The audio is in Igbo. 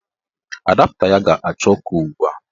Adapta ya ga-acha ọkụ ugbua.